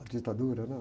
A ditadura, né?